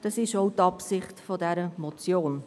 Dies ist auch die Absicht dieser Motion.